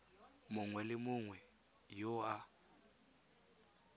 mongwe le mongwe yo a